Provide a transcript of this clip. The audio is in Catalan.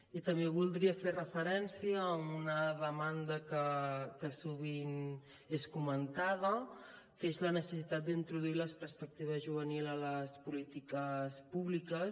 i també voldria fer referència a una demanda que sovint és comentada que és la necessitat d’introduir la perspectiva juvenil a les polítiques públiques